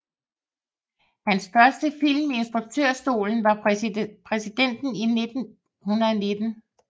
Hans første film i instruktørstolen var Præsidenten i 1919